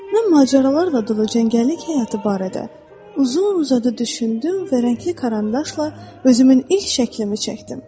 Mən macəralarla dolu cəngəllik həyatı barədə uzun-uzadı düşündüm və rəngli karandaşla özümün ilk şəklimi çəkdim.